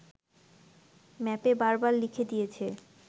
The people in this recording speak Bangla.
ম্যাপে বার বার লিখে দিয়েছে